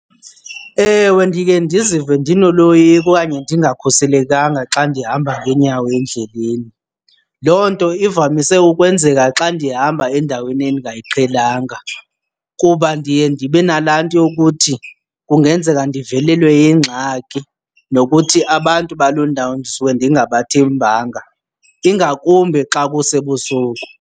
Ewe ndike ndizive ndinoloyiko okanye ndingakhuselekanga xa ndihamba ngeenyawo endleleni. Loo nto ivamise ukwenzeka xa ndihamba endaweni endingayiqhelanga kuba ndiye ndibe nalaa nto yokuthi kungenzeka ndivelelwe yingxaki nokuthi abantu baloo ndawo ndisuke ndingabathembanga, ingakumbi xa kusebusuku.